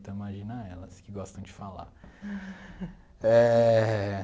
Então imagina elas que gostam de falar eh.